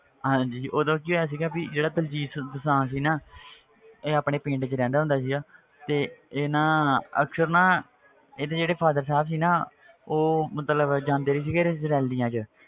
ਹਾਂਜੀ ਜੀ ਉਦੋਂ ਕੀ ਹੋਇਆ ਸੀਗਾ ਵੀ ਜਿਹੜਾ ਦਲਜੀਤ ਦੋਸਾਂਝ ਸੀ ਨਾ ਇਹ ਆਪਣੇ ਪਿੰਡ ਵਿੱਚ ਰਹਿੰਦਾ ਹੁੰਦਾ ਸੀਗਾ ਤੇ ਇਹ ਨਾ ਅਕਸਰ ਨਾ ਇਹਦੇ ਜਿਹੜੇ father ਸਾਹਬ ਸੀ ਨਾ ਉਹ ਮਤਲਬ ਜਾਂਦੇ ਸੀਗੇ ਰੈਲੀਆਂ 'ਚ